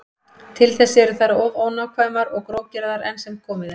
Til þess eru þær of ónákvæmar og grófgerðar enn sem komið er.